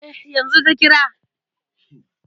Eh, yanzu ta kira.